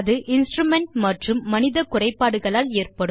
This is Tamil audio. அது இன்ஸ்ட்ருமென்ட் மற்றும் மனித குறைபாடுகளால் ஏற்படும்